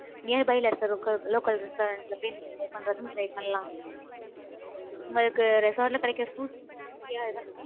nearby ல இருக்கிற, loca~ local restaurant ல போய், நீங்க, try பண்றதுன்ன, try பண்ணலாம். உங்களுக்கு, resort ல, கிடைக்கிற food healthy யா தான்